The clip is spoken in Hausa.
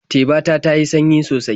Teba ta ta yi sanyi sosai.